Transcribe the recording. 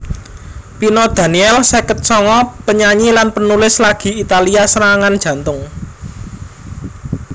Pino Daniele seket songo panyanyi lan panulis lagi Italia serangan jantung